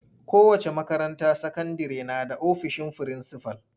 Kowace makaranta sakandire na da ofisin frinsifal.